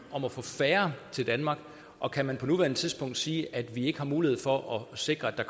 at få færre til danmark og kan man på nuværende tidspunkt sige at vi ikke har mulighed for at sikre at der